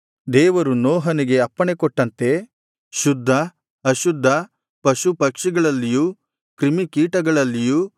ದೇವರು ನೋಹನಿಗೆ ಅಪ್ಪಣೆಕೊಟ್ಟಂತೆ ಶುದ್ಧ ಅಶುದ್ಧ ಪಶು ಪಕ್ಷಿಗಳಲ್ಲಿಯೂ ಕ್ರಿಮಿಕೀಟಗಳಲ್ಲಿಯೂ